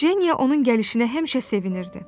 Jenya onun gəlişinə həmişə sevinirdi.